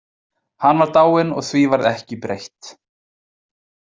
Hann var dáinn og því varð ekki breytt.